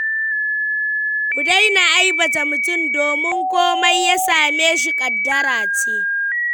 Ku daina aibata mutum domin komai ya same shi ƙaddara ce.